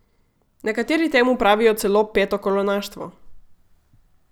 Nekateri temu pravijo celo petokolonaštvo!